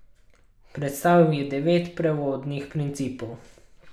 Predstavil je devet prevodnih principov.